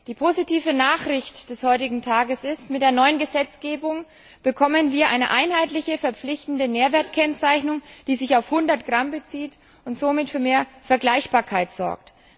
Die positive Nachricht des heutigen Tages ist Mit der neuen Gesetzgebung bekommen wir eine einheitliche verpflichtende Nährwertkennzeichnung, die sich auf 100 Gramm bezieht und somit für mehr Vergleichbarkeit sorgt.